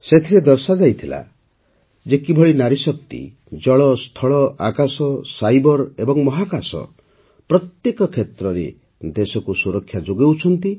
ସେଥିରେ ଦର୍ଶାଯାଇଥିଲା ଯେ କିଭଳି ନାରୀଶକ୍ତି ଜଳ ସ୍ଥଳ ଆକାଶ ସାଇବର୍ ଏବଂ ମହାକାଶ ପ୍ରତ୍ୟେକ କ୍ଷେତ୍ରରେ ଦେଶକୁ ସୁରକ୍ଷା ଯୋଗାଉଛନ୍ତି